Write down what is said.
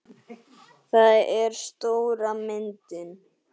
Það er stóra myndin.